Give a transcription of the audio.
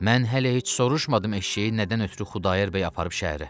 Mən hələ heç soruşmadım eşşəyi nədən ötrü Xudayar bəy aparıb şəhərə.